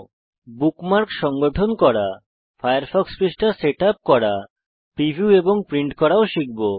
আমরা বুকমার্কস সংগঠন করা ফায়ারফক্স পৃষ্ঠা সেটআপ করা প্রিভিউ এবং প্রিন্ট করাও শিখব